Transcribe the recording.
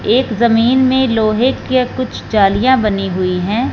एक जमीन में लोहे के कुछ जालियां बनी हुई है।